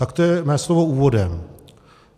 Tak to je mé slovo úvodem.